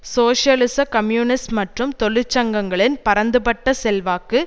சோசியலிச கம்யூனிஸ்ட் மற்றும் தொழிற் சங்கங்களின் பரந்துபட்ட செல்வாக்கு